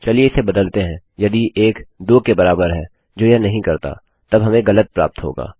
चलिए इसे बदलते हैं यदि 1 2 के बराबर है जो यह नहीं करता तब हमें गलत प्राप्त होगा